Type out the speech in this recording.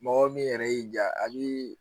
Mɔgɔ min yɛrɛ y'i ja a bi